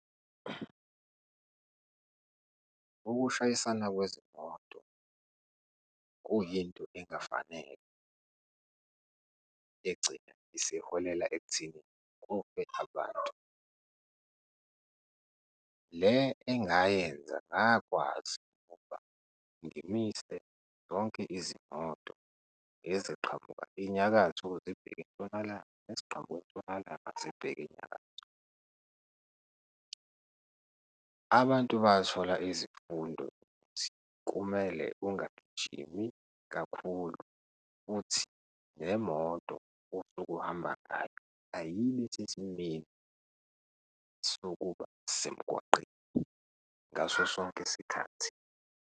Ukushayisana kwezimoto kuyinto engafanele egcina isihohela ekutheni kufe abantu. Le engayenza ngakwazi ukuba ngimise zonke izimoto, eziqhamuka inyakatho zibheke entshonalanga, eziqhamuka entshonalanga zibheke enyakatho. Abantu bathola izifundo ukuthi kumele ungagijimi kakhulu futhi nemoto osuke ohamba ngayo ayibe sesimeni sokuba semgwaqeni ngaso sonke isikhathi.